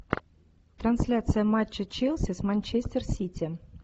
трансляция матча челси с манчестер сити